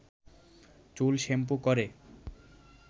চুল শ্যাম্পু করে